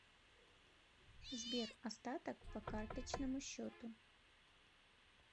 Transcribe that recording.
сбер остаток по карточному счету